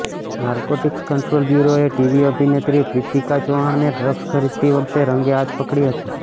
narcotics control બ્યૂરોએ TV અભિનેત્રી પ્રીતિકા ચૌહાણને ડ્રગ્સ ખરીદતી વખતે રંગે હાથ પકડી હતી